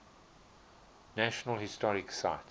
national historic site